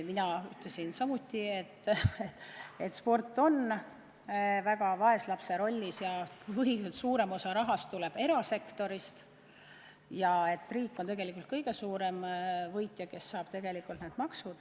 Mina ütlesin samuti, et sport on vaeslapse rollis, suurem osa rahast tuleb erasektorist ja riik on tegelikult kõige suurem võitja, kes saab need maksud.